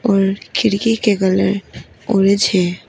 और खिड़की के कलर ऑरेंज है।